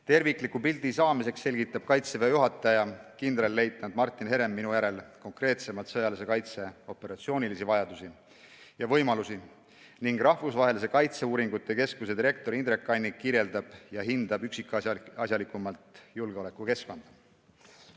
Tervikliku pildi saamiseks selgitab Kaitseväe juhataja kindralleitnant Martin Herem minu järel konkreetsemalt sõjalise kaitse operatsioonilisi vajadusi ja võimalusi ning Rahvusvahelise Kaitseuuringute Keskuse direktor Indrek Kannik kirjeldab ja hindab üksikasjalikumalt julgeolekukeskkonda.